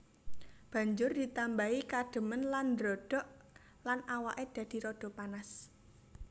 Banjur ditambahi kadhemen lan ndrodhok lan awake dadi rada panas